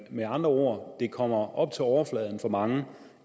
med andre ord det kommer op til overfladen for mange